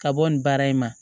Ka bɔ nin baara in na